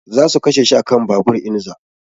Za su kashe shi a kan babur in za